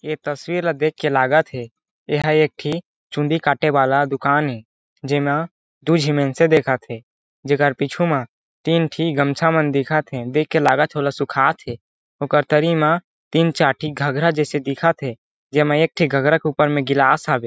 ये तस्वीर देख के लागत हे ए ह एक ठी चूंदी काटे वाला दुकान हे जेमा दूय झी मेन्स दिखत हे जेकर पीछू मा तीन टी गमछा मन दिखत हे देख के लागत हे वोला सुखात हे ओकर तरी मा तीन चार टी घघरा जैसे दिखत हे जेमे एक ठी घघरा के ऊपर में गिलास हवे।